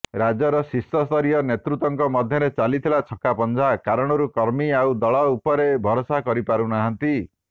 ରାଜ୍ୟର ଶୀର୍ଷସ୍ତରୀୟ ନେତୃତ୍ୱଙ୍କ ମଧ୍ୟରେ ଚାଲିଥିବା ଛକାପଂଝା କାରଣରୁ କର୍ମୀ ଆଉ ଦଳ ଉପରେ ଭରସା କରିପାରୁନାହାନ୍ତି